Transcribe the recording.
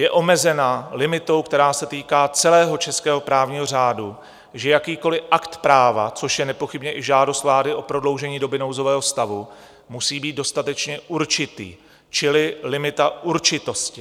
Je omezena limitou, která se týká celého českého právního řádu, že jakýkoliv akt práva, což je nepochybně i žádost vlády o prodloužení doby nouzového stavu, musí být dostatečně určitý, čili limita určitosti.